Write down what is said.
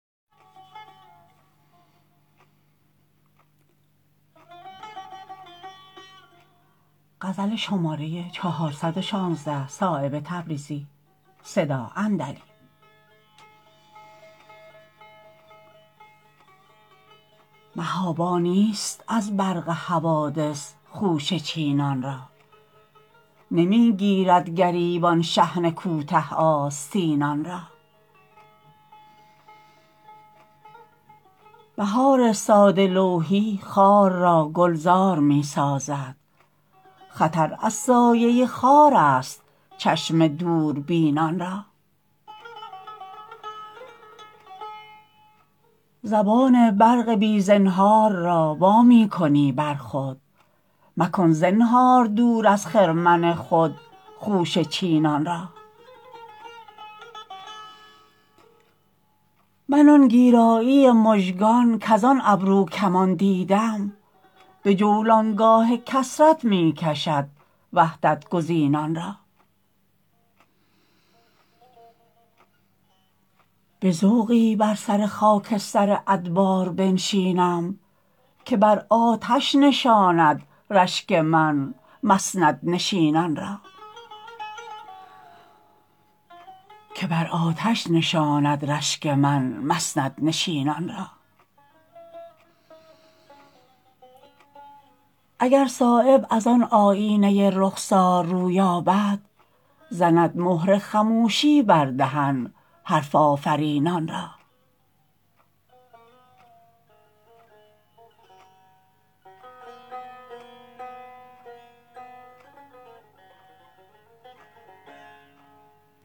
محابا نیست از برق حوادث خوشه چینان را نمی گیرد گریبان شحنه کوته آستینان را بهار ساده لوحی خار را گلزار می سازد خطر از سایه خارست چشم دوربینان را زبان برق بی زنهار را وا می کنی بر خود مکن زنهار دور از خرمن خود خوشه چینان را من آن گیرایی مژگان کزان ابرو کمان دیدم به جولانگاه کثرت می کشد وحدت گزینان را به ذوقی بر سر خاکستر ادبار بنشینم که بر آتش نشاند رشک من مسندنشینان را اگر صایب ازان آیینه رخسار رویابد زند مهر خموشی بر دهن حرف آفرینان را